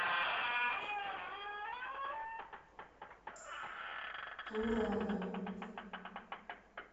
турана